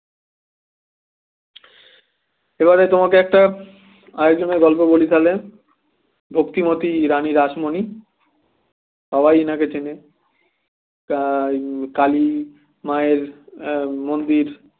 এবারে তোমাকে একটা আরেকজনের গল্প বলি তাহলে ভক্তি মতি রানী রাসমণি সবাই এনাকে চেনে তাই কালী মায়ের এ মন্দির